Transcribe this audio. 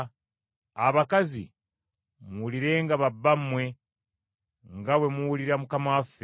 Abakazi, muwulirenga babbammwe nga bwe muwulira Mukama waffe.